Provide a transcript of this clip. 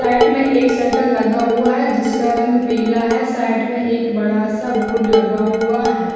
Side में एक shutter लगा हुआ है जिसका रंग पीला है साइड में एक बड़ा-सा बोर्ड लगा हुआ है।